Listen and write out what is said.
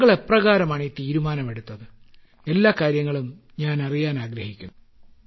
താങ്കൾ എപ്രകാരമാണ് ഈ തീരുമാനമെടുത്തത് എല്ലാ കാര്യങ്ങളും ഞാനറിയാനാഗ്രഹിക്കുന്നു